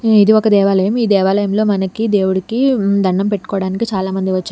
ఇది ఒక దేవాలయం ఈ దేవాలయంలో మనకి దేవుడికి ఉమ్ దండం పెట్టుకోవడానికి చాలామంది వచ్చారు.